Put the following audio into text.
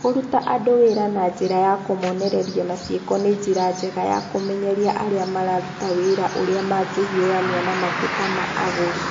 Kũruta andũ wĩra na njĩra ya kũmonereria na ciĩko nĩ njĩra njega ya kũmenyeria arĩa mararuta wĩra ũrĩa mangĩhiũrania na mateta ma agũri.